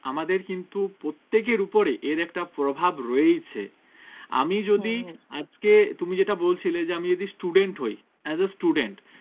আমাদের কিন্তু প্রত্যেকের উপরে এর একটা প্রভাব রয়েছে আমি যদি আজকে তুমি যেটা বলছিলে যে আমি যদি student হয় as a student